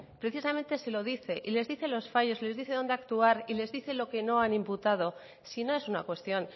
precisamente se lo dice y les dice los fallos les dice dónde actuar y les dice lo que no han imputado si no es una cuestión